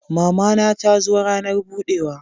Mama na ta zo ranar budewa